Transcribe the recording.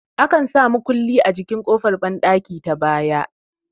Akan sa mukulli a jikin ƙofar banɗaki ta baya